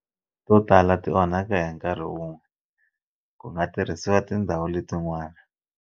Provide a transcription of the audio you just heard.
To tala ti onhaka hi nkarhi wun'we, ku nga tirhisiwa tindhawu letin'wana.